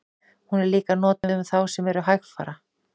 Hún er líka notuð um þá sem eru hægfara.